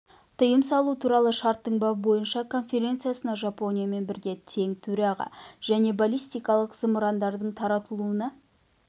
тыйым салу туралы шарттың бабы бойынша конференциясына жапониямен бірге тең төраға және баллистикалық зымырандардың таратылуына